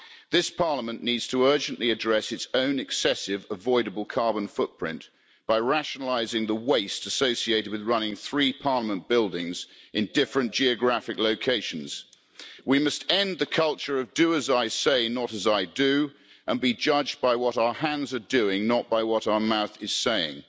This Parliament needs to urgently address its own excessive, avoidable carbon footprint by rationalising the waste associated with running three Parliament buildings in different geographic locations. We must end the culture of do as I say, not as I do', and be judged by what our hands are doing, not by what our mouth is saying.